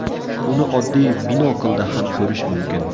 Uni oddiy binoklda ham ko‘rish mumkin.